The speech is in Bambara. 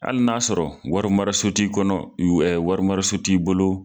Hali n'a y'a sɔrɔ wari maro so ti kɔnɔ, ɛɛ wari mara so ti bolo